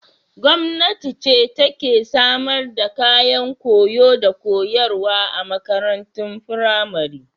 Gwamnati ce take samar da kayan koyo da koyarwa a makarantun firamari.